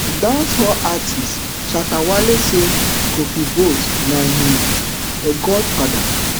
dancehall artiste shatta wale say kofi boat na im um godfather